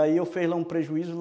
E aí eu fiz lá um prejuízo.